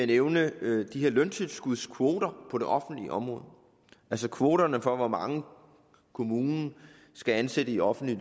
nævne de her løntilskudskvoter på det offentlige område altså kvoterne for hvor mange kommunen skal ansætte i offentlige